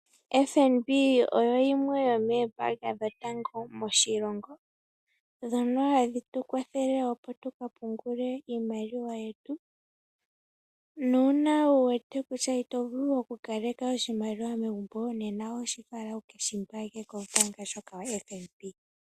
FNB oyo yimwe yomoombaanga dhotango moshilongo , dhono hadhi tu kwathele opo tuka pungule iimaliwa yetu, nuuna wu wete kutya ito vulu oku kaleka oshimaliwa megumbo, nena oshi fala uke shi pungule kombaanga ndjoka yoFNB.